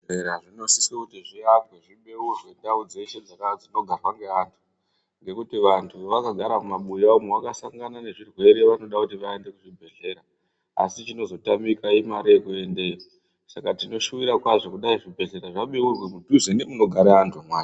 Zvibhedhlera zvinosisa kuti zviakwe ndau dzeshe dzinogarwa neanthu. Ngokuti vanthu vakagara mumabuya umo vakasangana nezvirwere vanoda kuti vaende kuzvibhedhlera asi chinozotamika imare yekuendeyo saka tinoshuvira kwazvo kuti zvibhedhlera zvibeurwe musinde nomunogare vanthu.